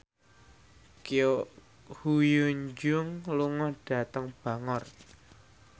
Ko Hyun Jung lunga dhateng Bangor